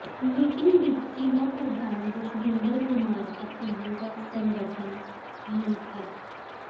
meeting ਵਿਚ ਜ਼ਿਲ੍ਹਾ ਪ੍ਰਧਾਨ ਜਸਵਿੰਦਰ ਕੁਮਾਰ ਅਤੇ ਯੁਵਾ ਸੰਗਠਨ ਮੰਤਰ